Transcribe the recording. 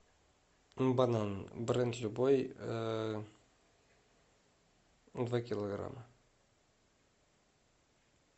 банан бренд любой два килограмма